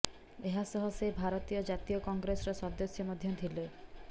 ଏହାସହ ସେ ଭାରତୀୟ ଜାତୀୟ କଂଗ୍ରେସର ସଦସ୍ୟ ମଧ୍ୟ ଥିଲେ